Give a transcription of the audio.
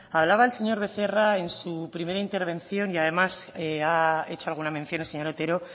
hablaba el señor becerra en su primera intervención y además ha hecho alguna mención el señor otero